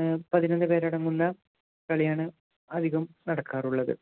ഏർ പതിനൊന്നു പേരടങ്ങുന്ന കളിയാണ് അധികം നടക്കാറുള്ളത്